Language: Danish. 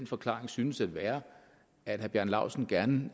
forklaring synes at være at herre bjarne laustsen gerne